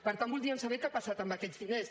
per tant voldríem saber què ha passat amb aquests diners